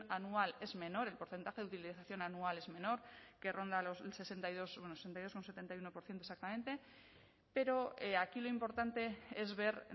anual es menor el porcentaje de utilización anual es menor que ronda el sesenta y dos bueno sesenta y dos coma setenta y uno por ciento exactamente pero aquí lo importante es ver